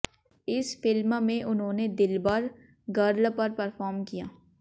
इस फिल्म में उन्होंने दिलबर गर्ल पर परफॉर्म किया